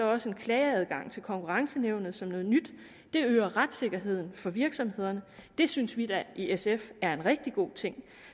også en klageadgang til konkurrenceankenævnet som noget nyt det øger retssikkerheden for virksomhederne og det synes vi da i sf er en rigtig god ting